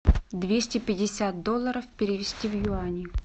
двести пятьдесят долларов перевести в юани